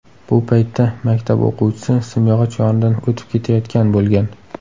Bu paytda maktab o‘quvchisi simyog‘och yonidan o‘tib ketayotgan bo‘lgan.